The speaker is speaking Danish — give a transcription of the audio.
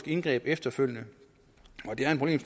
indgreb efterfølgende